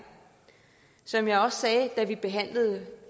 som jeg også sagde da vi behandlede